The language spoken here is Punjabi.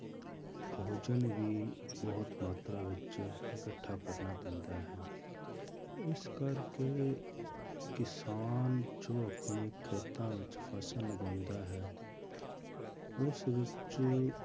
ਭੋਜਨ ਵੀ ਬਹੁਤ ਮਾਤਰਾ ਵਿੱਚ ਇਕੱਠਾ ਕਰਨਾ ਪੈਂਦਾ ਹੈ ਇਸ ਕਰਕੇ ਕਿਸਾਨ ਜੋ ਆਪਣੇ ਖੇਤਾਂ ਵਿੱਚ ਫਸਲ ਉਗਾਉਂਦਾ ਹੈ ਉਸ ਵਿੱਚ